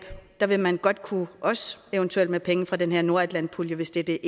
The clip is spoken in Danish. vil man godt kunne også eventuelt med penge fra den her nordatlantpulje hvis det det